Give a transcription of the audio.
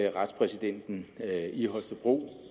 retspræsidenten i holstebro